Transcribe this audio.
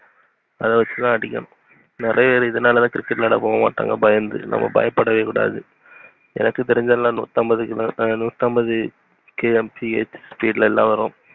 அத வச்சுதான் அடிக்கணும் நெறைய பேர் இதுனால தன பயந்து போமாட்டங்க நம்ப பயபுடவே கூடாது. எனக்கு தெரிஞ்எல்லாம் நூத்து ஐம்பது கிலோ நூத்து ஐம்பது hmph speed ல வரும்.